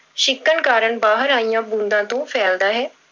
ਛਿੱਕਣ ਕਾਰਨ ਬਾਹਰ ਆਈਆਂ ਬੂੰਦਾਂ ਤੋਂ ਫੈਲਦਾ ਹੈ।